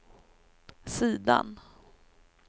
sidan